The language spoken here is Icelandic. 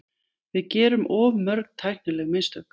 Við gerum of mörg tæknileg mistök.